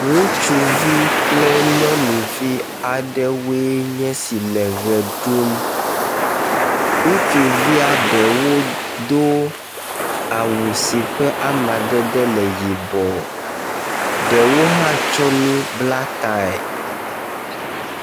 Ŋutsuvi kple nyɔnui aɖwoe nye esi le ʋe ɖum. Ŋutsuvia ɖewo do awu si ƒe amadede le yibɔ. Ɖewo hã tsɔ nu bla tae.